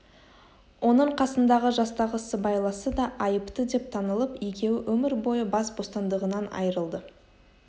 оның қасындағы жастағы сыбайласы да айыпты деп танылып екеуі өмір бойы бас бостандығынан айырылды